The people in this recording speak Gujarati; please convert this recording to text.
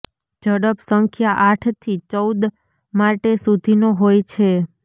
ઝડપ સંખ્યા આઠ થી ચૌદ માટે સુધીનો હોય છે